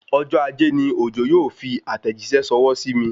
Ọjọ́ ajé ni Òjó yóò fi àtẹ̀jíṣẹ́ ṣọwọ́ sí mi